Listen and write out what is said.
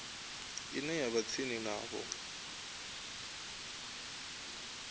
ine ya vha tsini navho